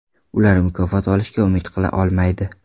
Ular mukofot olishga umid qila olmaydi.